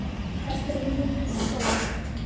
eftir Júlíus Sólnes